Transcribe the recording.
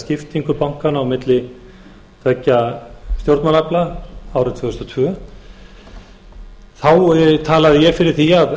skiptingu bankanna á milli tveggja stjórnmálaafla árið tvö þúsund og tvö þá talaði ég fyrir því að